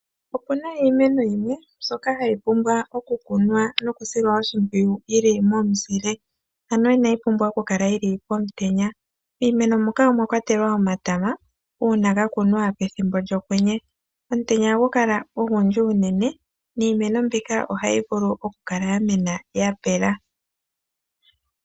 Opuna iimeno yimwe mbyoka ha yi pumbwa okukunwa noku silwa oshimpwiyu yili momuzile ano ina yi pumbwa okukala yili pomutenya . Miimeno muka omwakwatelwa omatama uuna ga kunwa pethimbo lyokwenye omutenya oha gu kala ogundji unene niimeno mbika ohayi vulu oku kala ya mena yapela.